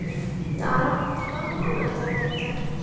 Dara, hvaða mánaðardagur er í dag?